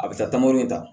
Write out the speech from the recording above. A bɛ taa taamayɔrɔ in na